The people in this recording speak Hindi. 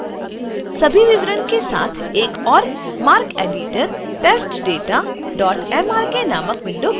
सभी विवरण के साथ एक ओर marceditor: testdatamrk नामक विंडो खुलता है